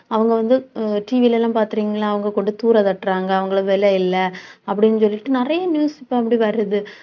அவங்க வந்து, TV ல எல்லாம் பார்த்திருக்கீங்களா அவங்க கொண்டு தூர தட்டுறாங்க. அவங்களுக்கு விலை இல்லை அப்படின்னு சொல்லிட்டு நிறைய news இப்ப அப்படி வருது